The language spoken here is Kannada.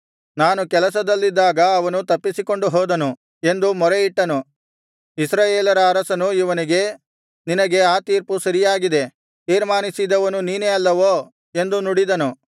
ನಾನು ಕೆಲಸದಲ್ಲಿದ್ದಾಗ ಅವನು ತಪ್ಪಿಸಿಕೊಂಡು ಹೋದನು ಎಂದು ಮೊರೆಯಿಟ್ಟನು ಇಸ್ರಾಯೇಲರ ಅರಸನು ಇವನಿಗೆ ನಿನಗೆ ಆ ತೀರ್ಪು ಸರಿಯಾಗಿದೆ ತೀರ್ಮಾನಿಸಿದವನು ನೀನೇ ಅಲ್ಲವೋ ಎಂದು ನುಡಿದನು